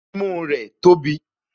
Imú rẹ̀ tóbi